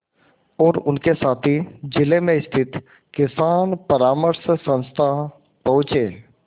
और उनके साथी जिले में स्थित किसान परामर्श संस्था पहुँचे